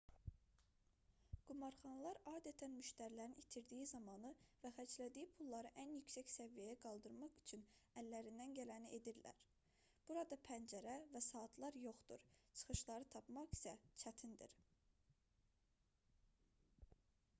qumarxanalar adətən müştərilərin itirdiyi zamanı və xərclədiyi pulları ən yüksək səviyyəyə qaldırmaq üçün əllərindən gələni edirlər burada pəncərə və saatlar yoxdur çıxışları tapmaq isə çətindir